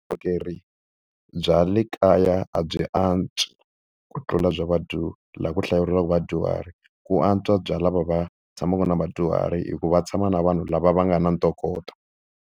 Vukorhokeri bya le kaya a byi antswi ku tlula bya laha ku hlayisiwaka vadyuhari, ku antswa bya lava va tshamaka na vadyuhari hikuva tshama na vanhu lava va nga na ntokoto.